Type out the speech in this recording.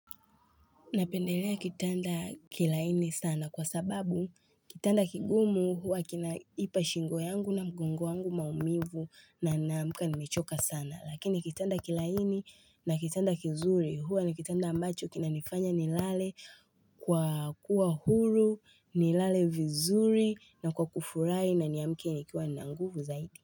Napendelea kitanda kilaini sana kwa sababu kitanda kigumu huwa kinaipa shingo yangu na mgongo wangu maumivu na ninaamka nimechoka sana. Lakini kitanda kilaini na kitanda kizuri huwa ni kitanda ambacho kina nifanya nilale kwa kuwa huru, nilale vizuri na kwa kufurai na niamke nikiwa ninanguvu zaidi.